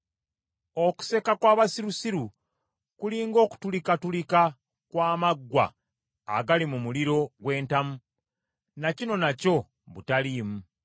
Okuseka kw’abasirusiru kuli ng’okutulikatulika kw’amaggwa agali mu muliro gw’entamu ; na kino nakyo butaliimu.